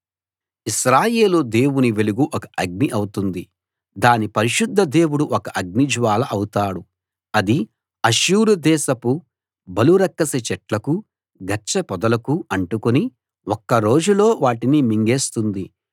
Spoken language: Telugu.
ఇశ్రాయేలు దేవుని వెలుగు ఒక అగ్ని అవుతుంది దాని పరిశుద్ధ దేవుడు ఒక జ్వాల అవుతాడు అది అష్షూరు దేశపు బలురక్కసి చెట్లకూ గచ్చపొదలకూ అంటుకుని ఒక్క రోజులో వాటిని మింగేస్తుంది